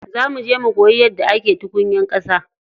Za muje mu koyi yadda ake tukunyar ƙasa.